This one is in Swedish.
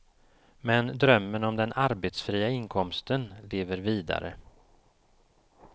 Men drömmen om den arbetsfria inkomsten lever vidare.